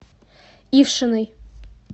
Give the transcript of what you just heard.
ившиной